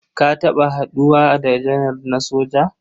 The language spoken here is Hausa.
Ka taɓa haɗuwa da janar na soja?